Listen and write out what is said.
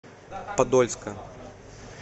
подольска